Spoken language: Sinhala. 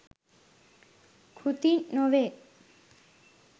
කෘති නොවේ.